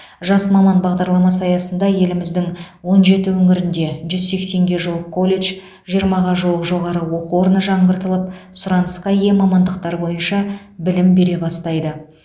жас маман бағдарламасы аясында еліміздің он жеті өңірінде жүз сексенге жуық колледж жиырмаға жуық жоғары оқу орны жаңғыртылып сұранысқа ие мамандықтар бойынша білім бере бастайды